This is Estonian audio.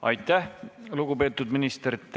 Aitäh, lugupeetud minister!